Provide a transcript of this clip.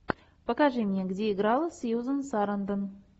покажи мне где играла сьюзен сарандон